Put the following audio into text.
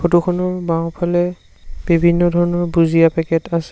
Photo খনৰ বাওঁফালে বিভিন্ন ধৰণৰ ভূজিয়া পেকেট আছে।